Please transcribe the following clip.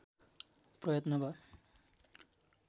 प्रयत्न भयो